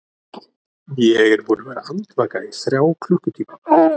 Ég er búinn að vera andvaka í þrjá klukkutíma.